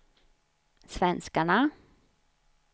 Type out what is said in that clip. svenskarna